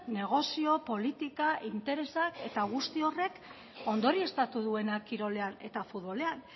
negozio politika interesak eta guzti horrek ondorioztatu duena kirolean eta futbolean